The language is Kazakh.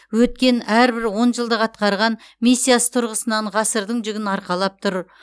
өткен әрбір он жылдық атқарған миссиясы тұрғысынан ғасырдың жүгін арқалап тұр